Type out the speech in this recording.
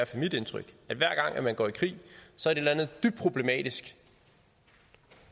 fald mit indtryk at hver gang man går i krig så er det dybt problematisk